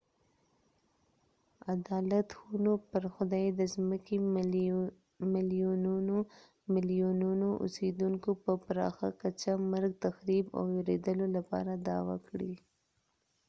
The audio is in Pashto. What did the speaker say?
عدالت خونو پر خدای د ځمکې ملیونونو ملیونونو اوسیدونکو په پراخه کچه مرګ تخریب او ویرولو لپاره دعوه کړې